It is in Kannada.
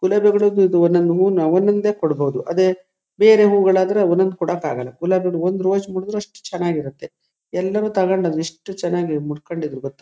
ಗುಲಾಬಿ ಒಂದ್ ಒಂದು ಹೂವುನ ಒಂದ ಒಂದೇ ಕೊಡಬಹುದು ಅದೇ ಬೇರೆ ಹೂವುಗಳಾದ್ರೆ ಒಂದ್ ಒಂದು ಕೊಡಕಾಗಲ್ಲಾ ಗುಲಾಬಿ ಒಂದು ಹೂವು ಒಂದು ರೋಜ್ ಮೂಡದ್ರೆ ಎಷ್ಟು ಚನ್ನಗಿರುತ್ತೆ ಎಲ್ಲಾನು ತಕೊಂಡು ಬಂದು ಎಷ್ಟು ಚನ್ನಾಗಿ ಮುಡಕೊಂಡಿದ್ರು ಗೊತ್ತಾ--